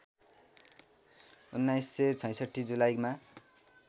१९६६ जुलाईमा